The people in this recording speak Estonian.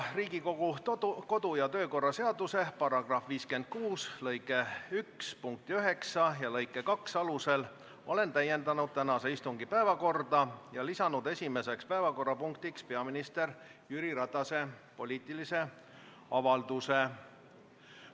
Riigikogu kodu- ja töökorra seaduse § 56 lõike 1 punkti 9 ja lõike 2 alusel olen täiendanud tänase istungi päevakorda ning lisanud esimeseks päevakorrapunktiks Jüri Ratase poliitilise avalduse.